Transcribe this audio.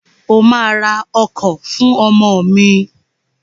O ma ra ọkọ̀ fún ọmọ mi!